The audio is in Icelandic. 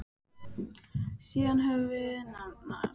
Síðan höfum við nafn á svona snillinga.